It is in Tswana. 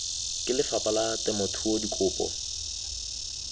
ke lefapha la temothuo dikopo